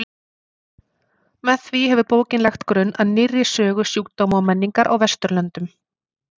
Með því hefur bókin lagt grunn að nýrri sögu sjúkdóma og menningar á Vesturlöndum.